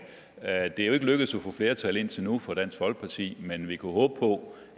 er jo ikke lykkedes at få flertal indtil nu for dansk folkeparti men vi kunne håbe på